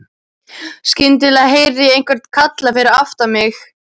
Skyndilega heyrði ég einhvern kalla fyrir aftan mig.